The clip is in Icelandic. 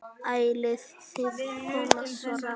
Æxlið kom svo hratt.